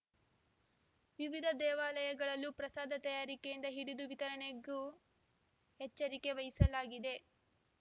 ವಿವಿಧ ದೇವಾಲಯಗಳಲ್ಲಿಯೂ ಪ್ರಸಾದ ತಯಾರಿಕೆಯಿಂದ ಹಿಡಿದು ವಿತರಣೆವರೆಗೂ ಎಚ್ಚರಿಕೆ ವಹಿಸಲಾಗಿದೆ